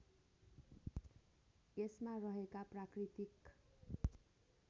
यसमा रहेका प्राकृतिक